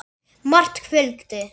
Margt fylgdi.